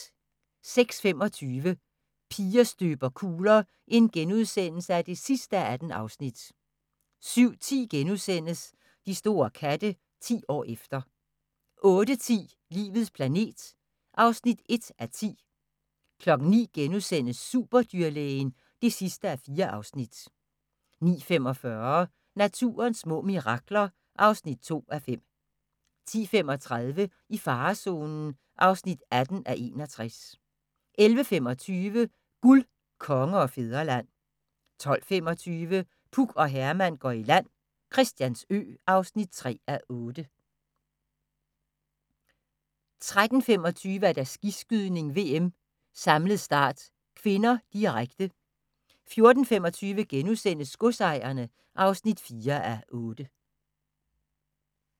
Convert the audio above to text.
06:25: Piger støber kugler (18:18)* 07:10: De store katte – 10 år efter * 08:10: Livets planet (1:10) 09:00: Superdyrlægen (4:4)* 09:45: Naturens små mirakler (2:5) 10:35: I farezonen (18:61) 11:25: Guld, Konge og Fædreland 12:25: Puk og Herman går i land - Christiansø (3:8) 13:25: Skiskydning: VM - samlet start (k), direkte 14:25: Godsejerne (4:8)*